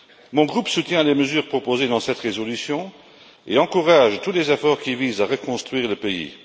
Mon groupe soutient les mesures proposées dans cette résolution et encourage tous les efforts qui visent à reconstruire le pays.